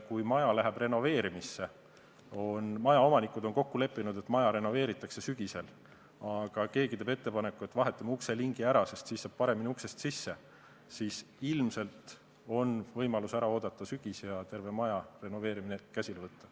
Kui maja hakatakse renoveerima, majaomanikud on kokku leppinud, et maja renoveeritakse sügisel, aga keegi teeb ettepaneku, et vahetame ukselingi ära, sest siis saab paremini uksest sisse, siis ilmselt on võimalus ära oodata sügis ja terve maja renoveerimine käsile võtta.